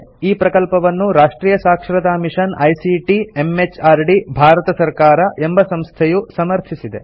ಈ ಪ್ರಕಲ್ಪವನ್ನು ರಾಷ್ಟ್ರಿಯ ಸಾಕ್ಷರತಾ ಮಿಷನ್ ಐಸಿಟಿ ಎಂಎಚಆರ್ಡಿ ಭಾರತ ಸರ್ಕಾರ ಎಂಬ ಸಂಸ್ಥೆಯು ಸಮರ್ಥಿಸಿದೆ